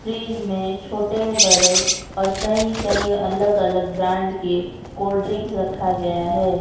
Fridge में छोटे बड़े और कई कई अलग अलग ब्रांड के कोल्ड ड्रिंक रखा गया है।